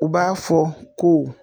U b'a fɔ ko.